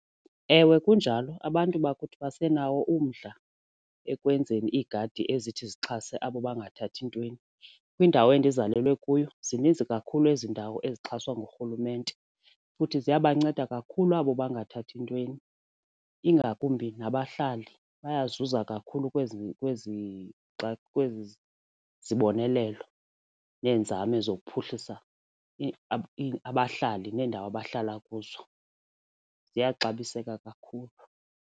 Ewe, kunjalo, abantu bakuthi basenawo umdla ekwenzeni iigadi ezithi zixhase abo bangathathi ntweni. Kwindawo endizalwa kuyo zininzi kakhulu ezi ndawo ezixhaswa ngurhulumente futhi ziyabanceda kakhulu abo bangathathi ntweni ingakumbi nabahlali bayazuza kakhulu kwezi kwezi zibonelelo neenzame zokuphuhlisa abahlali neendawo abahlala kuzo ziyaxabiseka kakhulu.